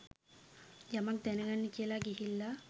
යමක් දැනගන්න කියලා ගිහිල්ල.